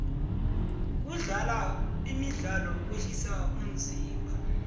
kudlala imidlalo kwehlisa umzimba